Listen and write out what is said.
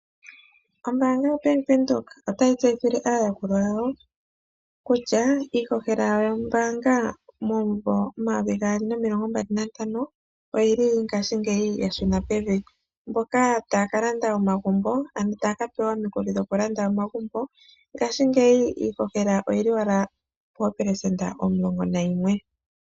Ombaanga yaBank Windhoek otayi tseyithile aayakulwa yawo kutya iihohela yombaanga momumvo 2025 oyili ngaashingeyi yashuna pevi. Mboka taya kalanda omagumbo ano taya kapewa omukuli dhokulanda omagumbo, ngaashingeyi iihohela oyili owala poopelesenda omulongo nayimwe.